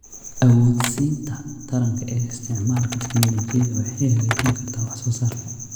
Awoodsiinta taranka ee isticmaalka tignoolajiyada waxay hagaajin kartaa wax soo saarka.